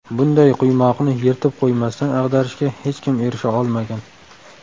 Bunday quymoqni yirtib qo‘ymasdan ag‘darishga hech kim erisha olmagan.